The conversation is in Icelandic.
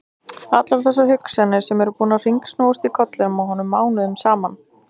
Allar þessar hugsanir sem eru búnar að hringsnúast í kollinum á honum mánuðum saman!